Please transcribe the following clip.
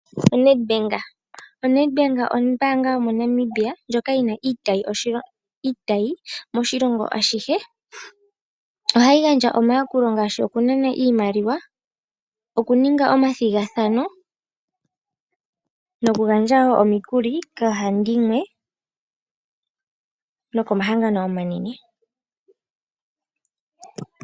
ONed bank, oNed bank ombaanga yomoNamibia ndjoka yina iitayi moshilongo ashihe. Ohayi gandja omayakulo ngaashi okunana iimaliwa, oku ninga omathigathano noku gandja woo omikuli koohandimwe noko mahangano omanene.